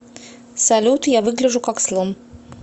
салют я выгляжу как слон